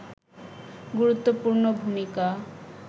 গুরুত্বপূর্ণ ভূমিকা